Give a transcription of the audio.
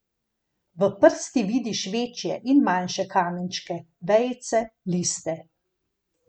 V prsti vidiš večje in manjše kamenčke, vejice, liste.